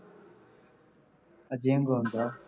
ਅੱਗੇ ਆਂ ਗੂ ਆਉਂਦਾ